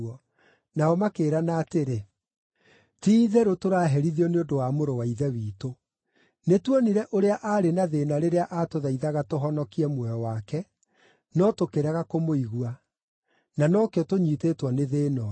Nao makĩĩrana atĩrĩ, “Ti-itherũ tũraherithio nĩ ũndũ wa mũrũ wa ithe witũ. Nĩtuonire ũrĩa aarĩ na thĩĩna rĩrĩa atũthaithaga tũhonokie muoyo wake, no tũkĩrega kũmũigua; na no kĩo tũnyiitĩtwo nĩ thĩĩna ũyũ.”